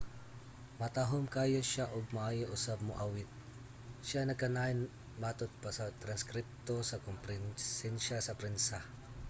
"matahom kaayo siya ug maayo usab moawit, siya nagkanayon matod pa sa transkripto sa komperensiya sa prensa